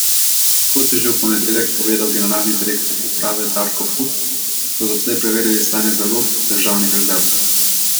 Kot je že v ponedeljek povedal generalni direktor uprave Darko But, so doslej preverili stanje zalog državnih rezerv.